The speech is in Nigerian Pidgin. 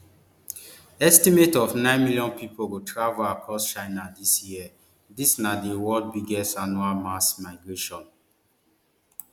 estimate of nine billion pipo go travel across china dis year dis na di world biggest annual mass migration